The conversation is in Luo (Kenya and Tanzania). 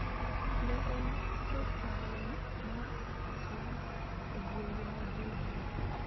Ne en e taon mar Atlanta, e gwenge ma Georgia.